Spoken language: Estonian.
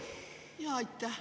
Aitäh!